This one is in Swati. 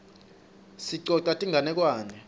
sicosa tinganekwane